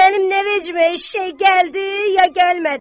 Mənim nə veccimə eşşəy gəldi, ya gəlmədi.